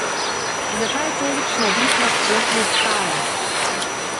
Zakaj je tolikšna vihra sploh nastala?